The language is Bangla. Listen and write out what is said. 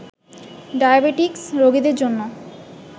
ডায়াবেটিকস রোগীদের জন্য